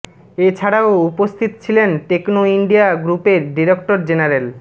এছাড়াও উপস্থিত ছিলেন টেকনো ইন্ডিয়া গ্রুপের ডিরেক্টর জেনারেল ড